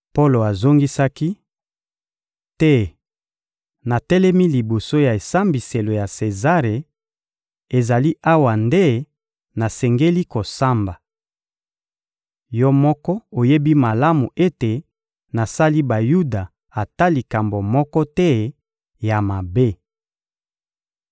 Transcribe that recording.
Polo azongisaki: — Te, natelemi liboso ya esambiselo ya Sezare; ezali awa nde nasengeli kosamba. Yo moko oyebi malamu ete nasali Bayuda ata likambo moko te ya mabe.